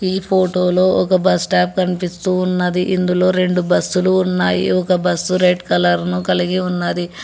ఈ ఫోటోలో ఒక బస్ స్టాప్ కనిపిస్తూ ఉన్నది ఇందులో రెండు బస్సు లు ఉన్నాయి ఒక బస్సు రెడ్ కలర్ ను కలిగి ఉన్నది.